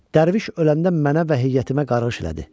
Dərviş ölən də mənə və heyətimə qarğış elədi.